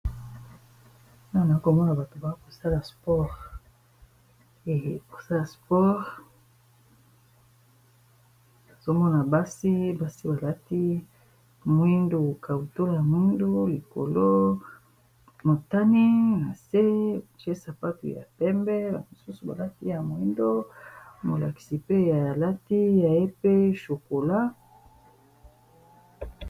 non a komona bato banga kosala sporee kosala spore azomona basi basi balati moindo kauto ya moindu likolo motani na nse cesapapi ya pembela mosusu balaki ya moindo molakisi pe ya alati ya ye pe chokola